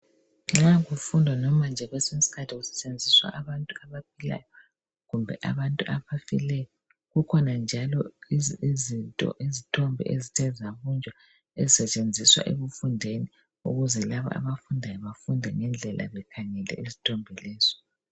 Nxa kufundwa noma nje kwesinye isikhathi kusetshenziswa abantu abaphilayo kumbe abantu abafileyo. Kukhona njalo izinto izithombe ezithe zabunjwa ezisetshenziswa ekufundeni ukuze labo abafundayo bafunde ngendlela bekhangele izithombe lezo.